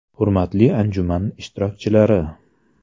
Hurmatli anjuman ishtirokchilari!